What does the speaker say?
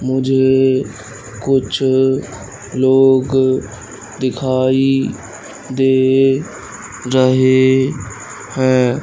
मुझे कुछ लोग दिखाई दे रहे हैं।